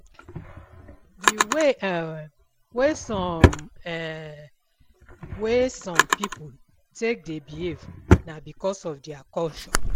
Di way um wey some um wey some pipo take dey behave na because of their culture